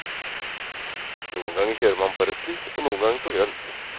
Noen ganger kjører man på rødt lys og noen ganger på grønt.